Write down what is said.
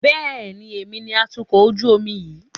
Bẹ́ẹ̀ni, èmi ni atukọ̀ ojú omi yìí